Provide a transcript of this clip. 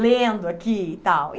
lendo aqui e tal.